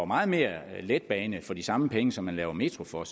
meget mere letbane for de samme penge som man laver metro for